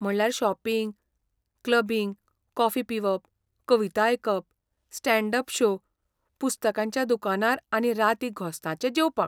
म्हणल्यार shopping, clubbing, coffee पिवप, कविता आयकप, स्टॅण्ड अप शो, पुस्तकांच्या दुकानार आनी राती घोस्ताचें जेवपाक.